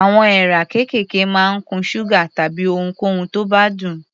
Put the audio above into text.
Àwọn èèrà kéékèèké máa ń kun ṣúgà tàbí ohunkóhun tó bá dùn.